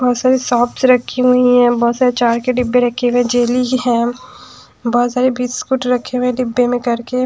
बहुत सारे सॉप्स रखी हुई है बहुत सारे अचार के डिब्बे रखे हुए हैं जेली है बहुत सारे बिस्कुट रखे हुए हैं डिब्बे में करके --